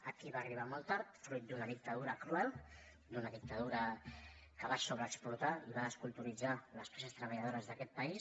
aquí va arribar molt tard fruit d’una dictadura cruel d’una dictadura que va sobreexplotar i va desculturitzar les classes treballadores d’aquest país